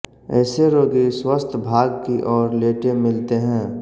ऐसे रोगी स्वस्थ भाग की ओर लेटे मिलते हैं